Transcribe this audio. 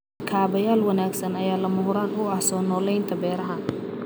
Kaabayaal wanaagsan ayaa lama huraan u ah soo noolaynta beeraha.